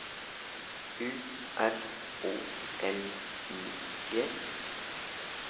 U R O L I G